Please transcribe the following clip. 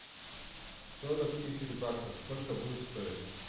сорок тысяч баксов сколько будет стоить